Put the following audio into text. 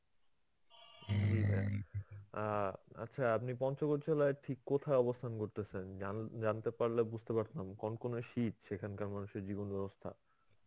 অ্যাঁ আচ্ছা আপনি পঞ্চগড় জেলায় ঠিক কোথায় অবস্থান করতেছেন? জান~ জানতে পারলে বুঝতে পারতাম. কন কনে শীত, সেখানকার মানুষের জীবন ব্যবস্থা.